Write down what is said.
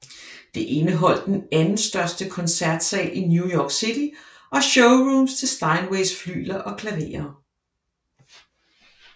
Det indeholdt den anden største koncertsal i New York City og showrooms til Steinways flygler og klaverer